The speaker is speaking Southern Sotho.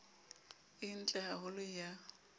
e ntle ha holo ya